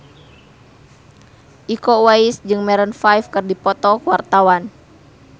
Iko Uwais jeung Maroon 5 keur dipoto ku wartawan